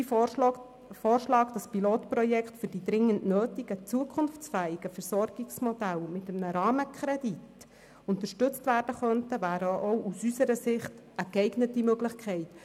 Sein Vorschlag, wonach Pilotprojekte für die dringend nötigen zukunftsfähigen Versorgungsmodelle mit einem Rahmenkredit unterstützt werden könnten, wäre auch aus unserer Sicht eine geeignete Möglichkeit.